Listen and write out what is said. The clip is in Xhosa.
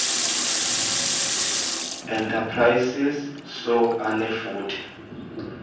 enterprises soe anefuthe